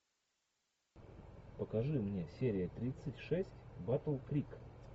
покажи мне серия тридцать шесть батл крик